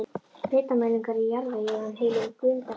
Hitamælingar í jarðvegi ef hann hylur grunnbergið.